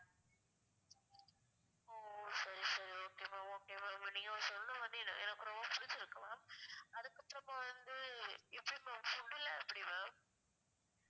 ஒ சரி சரி okay ma'am okay ma'am நீங்க வந்து சொல்றது வந்து எனக்கு ரொம்ப பிடிச்சிருக்கு ma'am அதுக்கு அப்றோமா வந்து எப்படி ma'am food லாம் எப்படி ma'am